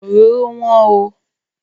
Òróró wọ́n oo.